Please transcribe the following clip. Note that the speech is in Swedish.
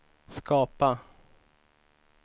skapa